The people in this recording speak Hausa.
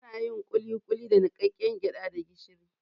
Anayin kulikuli daga niƙaƙƙen gyaɗa da gishiri